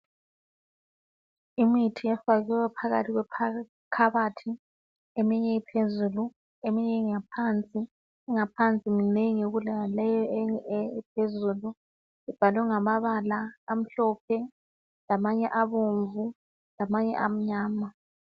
Imithi efakwe phakathi kwe khabothi eminye iphezulu eminye ingaphansi engaphansi minengi kulaleyi ephezulu ibhalwe ngamabala amhlophe lamanye abomvu amanye amnyama.